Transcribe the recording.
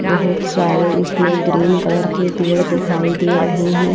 बहुत सारे इसमें ग्रीन कलर के पेड़ दिखाई दे रहे हैं।